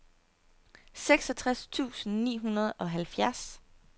seksogtres tusind ni hundrede og halvfjerds